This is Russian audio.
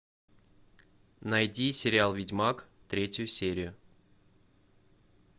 найди сериал ведьмак третью серию